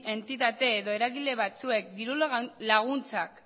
entitate edo eragile batzuek dirulaguntzak